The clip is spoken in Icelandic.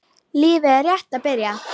Lífið er rétt að byrja.